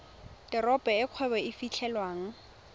teropo e kgwebo e fitlhelwang